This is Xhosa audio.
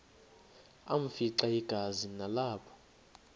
afimxa igazi nalapho